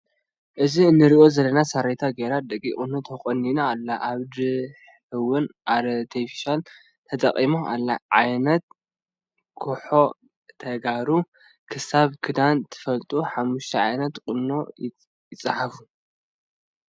ኣብዚ እንረኦ ዘለና ሳሬታ ገይራ ደቂቅ ቁኖ ተኮኒናኣላ ኣብ ድሕ እወን ኣርተፊሻል ተጠቂማ ኣላ። ዓይነታት ኩጎ ተጋሩ ክሳብ ክዳይ ትፈልጡ 5ተ ዓይነታት ቁኖ ፃሓፉ።